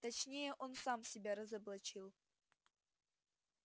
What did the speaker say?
точнее он сам себя разоблачил